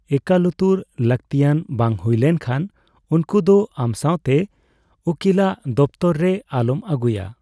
ᱮᱠᱟᱞᱩᱛᱟᱹᱨ ᱞᱟᱹᱜᱛᱤᱭᱟᱱ ᱵᱟᱝ ᱦᱩᱭ ᱞᱮᱱ ᱠᱷᱟᱱ ᱩᱱᱠᱩ ᱫᱚ ᱟᱢ ᱥᱟᱣᱛᱮ ᱩᱠᱤᱞᱟᱜ ᱫᱚᱯᱛᱚᱨ ᱨᱮ ᱟᱞᱚᱢ ᱟᱹᱜᱩᱭᱟ ᱾